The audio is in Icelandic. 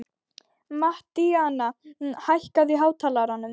Mattíana, hækkaðu í hátalaranum.